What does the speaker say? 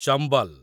Chambal